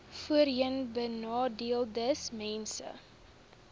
voorheenbenadeeldesmense